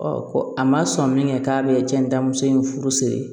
ko a ma sɔn min kɛ k'a bɛ cɛn muso in furu siri